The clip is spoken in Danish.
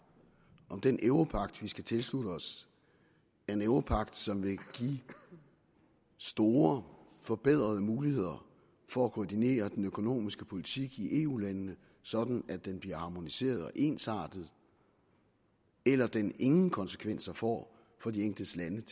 om den europagt vi skal tilslutte os er en europagt som vil give store forbedrede muligheder for at koordinere den økonomiske politik i eu landene sådan at den bliver harmoniseret og ensartet eller den ingen konsekvenser får for de enkelte landes